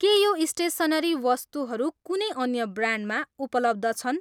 के यो स्टेसनरी वस्तुहरू कुनै अन्य ब्रान्डमा उपलब्ध छन्?